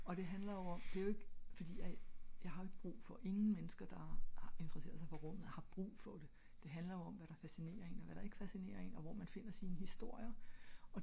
og det handler jo om det er jo ik fordi jeg har jo ik brug for ingen mennesker der interesserer sig indenfor rummet har jo ikke brug for det det handler jo om hvad der fascinerer en og hvad der ik fascinerer en og hvor man finder sine historier og